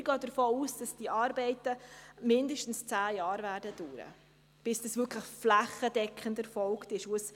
Wir gehen davon aus, dass diese Arbeiten mindestens zehn Jahre dauern werden, bis das wirklich flächendeckend erfolgt ist.